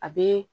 A be